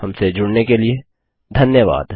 हमसे जुड़ने के लिए धन्यवाद